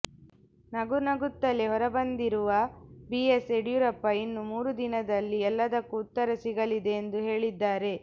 ನಗು ನಗುತ್ತಲೇ ಹೊರಬಂದಿರುವ ಬಿಎಸ್ ಯಡಿಯೂರಪ್ಪ ಇನ್ನು ಮೂರು ದಿನದಲ್ಲಿ ಎಲ್ಲದಕ್ಕೂ ಉತ್ತರ ಸಿಗಲಿದೆ ಎಂದು ಹೇಳಿದ್ದಾರೆ